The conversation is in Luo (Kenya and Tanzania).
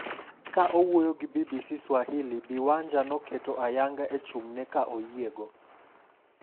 Kane owuoyo gi BBC Swahili, Bi Wanja noketo ayanga e chung'ne ka oyiego.